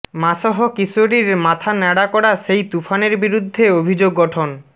মাসহ কিশোরীর মাথা ন্যাড়া করা সেই তুফানের বিরুদ্ধে অভিযোগ গঠন